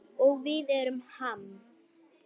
Og við erum Ham.